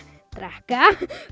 drekka